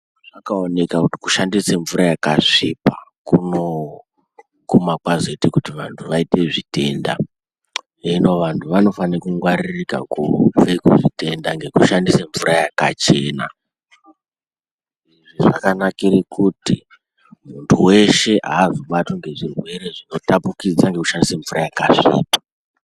Zvaoneka kuti kushandisa mvura yakasvipa kunoguma kwazoite kuti vantu vaite zvitenda. Hino vantu vanofane kungwaririka kubve kuzvitenda ngekushandise mvura yakachena. Izvi zvakanakire kuti muntu veshe hazobatwi ngezvirere zvinotapukidza ngekushandisa mvura yakasvipa.